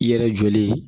I yɛrɛ jɔlen